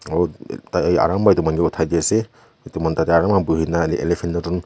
aru ekta aram pra akta manu uthaidi ase itu manu tate aru buhina eleplant during.